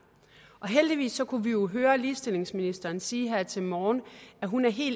heldigvis kunne vi jo høre ligestillingsministeren sige her til morgen at hun er helt